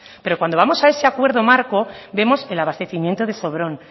pero cuando vamos a ese acuerdo marco vemos el abastecimiento de sobrón